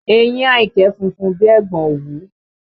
Eyín Àyìnkẹ́ funfun bí i ẹ̀gbọ̀n òwú